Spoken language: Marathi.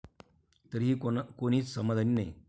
तरीही कुणीच समाधानी नाही!